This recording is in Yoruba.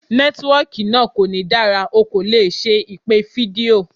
Nẹ́tíwọkì náà kò ní dára, o kò lè ṣe ìpè fídíò.